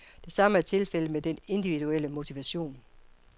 Det samme er tilfældet med den individuelle motivation.